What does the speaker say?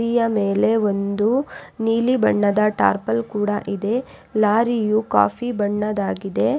ಮೇಲೆ ಒಂದು ನೀಲಿ ಬಣ್ಣದ ಟಾರ್ಪಲ್ ಕೂಡ ಇದೆ ಲಾರಿಯು ಕಾಫಿ ಬಣ್ಣದಾಗಿದೆ.